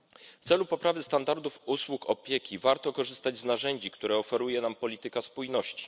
W celu poprawy standardów usług opieki warto korzystać z narzędzi, które oferuje nam polityka spójności.